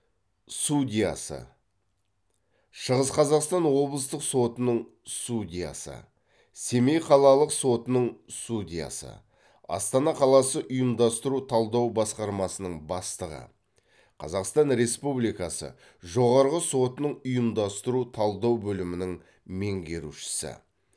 судьясы шығыс қазақстан облыстық сотының судьясы семей қалалық сотының судьясы астана қаласы ұйымдастыру талдау басқармасының бастығы қазақстан республикасы жоғарғы сотының ұйымдастыру талдау бөлімінің меңгерушісі